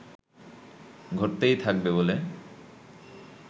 ঘটতেই থাকবে বলে